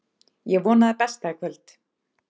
Ég vona það besta í kvöld.